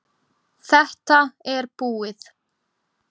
Þetta er búið.